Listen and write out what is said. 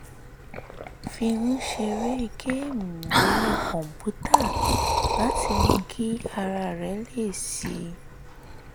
fi ń ṣeré géèmù orí kọ̀ǹpútà láti mú kí ara rẹ̀ le sí i